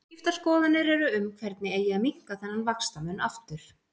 Skiptar skoðanir eru um hvernig eigi að minnka þennan vaxtamun aftur.